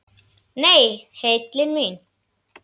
Nei, heillin mín.